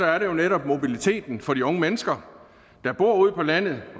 er det jo netop mobiliteten for de unge mennesker der bor ude på landet